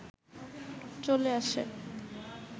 চলে আসে